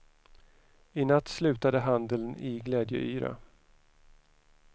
I natt slutade handeln i glädjeyra.